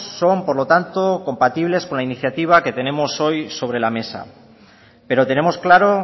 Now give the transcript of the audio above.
son por lo tanto compatibles con la iniciativa que tenemos hoy sobre la mesa pero tenemos claro